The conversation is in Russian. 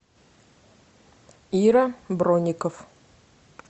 ира бронников